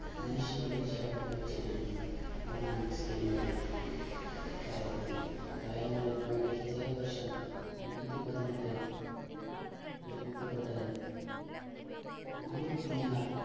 മനുഷ്യരുടെ ശവം കുഴിച്ചിട്ടിരിക്കുന്നു എന്നാണ് പറയപ്പെടുന്നത് പയങ്ങാടിപ്പള്ളി വർഷം അഞ്ഞൂറ്റിപതിനെട്ട് നിർമ്മിക്കപ്പെട്ടത് നാല് ദിനാർ